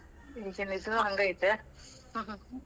ಈಗಿನ್ ಇದೂನು ಹಂಗ ಐತ್ಯಾ .